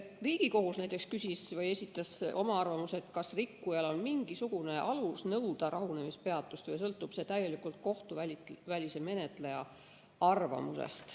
Riigikohus esitas küsimuse, kas rikkujal on mingisugune alus nõuda rahunemispeatust või sõltub see täielikult kohtuvälise menetleja arvamusest.